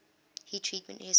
heat treatment history